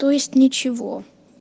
то есть ничего